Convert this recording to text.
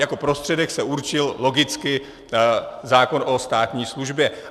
Jako prostředek se určil logicky zákon o státní službě.